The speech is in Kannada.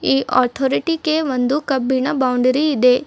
ಈ ಆತೋರಟಿ ಕೆ ಕಬ್ಬಿನ ಬೌಂಡರಿ ಇದೆ.